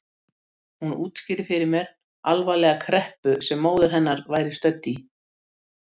Hún útskýrði fyrir mér alvarlega kreppu sem móðir hennar væri stödd í.